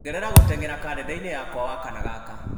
ongerera gũteng'era karenda-inĩ yakwa wakana gaka